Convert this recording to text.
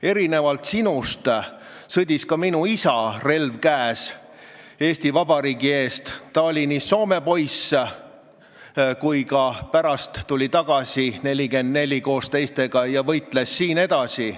Erinevalt sinust sõdis ka minu isa, relv käes, Eesti Vabariigi eest – ta oli nii soomepoiss kui tuli ka 1944 koos teistega tagasi ja võitles siin edasi.